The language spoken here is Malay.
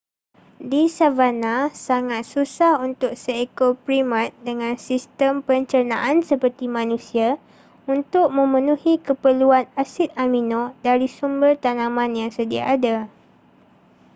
di savanna sangat susah untuk seekor primat dengan sistem pencernaan seperti manusia untuk memenuhi keperluan asid amino dari sumber tanaman yang sedia ada